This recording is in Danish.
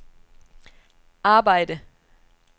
arbejde